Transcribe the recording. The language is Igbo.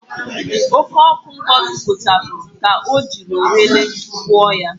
Oko oku Ngozi kpochapụrụ ka o jiri orele gwuoo ya.